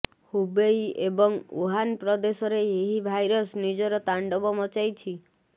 Hubei ଏବଂ Wuhan ପ୍ରଦେଶରେ ଏହି ଭାଇରସ୍ ନିଜର ତାଣ୍ଡବ ମଚାଇଛି